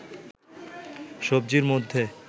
সবজির মধ্যে